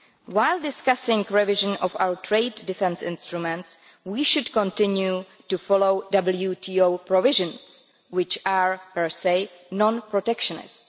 While discussing the revising of our trade defence instruments, we should continue to follow WTO provisions which are per se non protectionist.